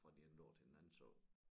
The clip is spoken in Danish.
Fra det ene år til det andet så